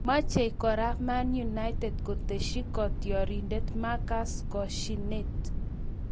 Machei kora Man United kotesyi kotioriendet Marcus koshinet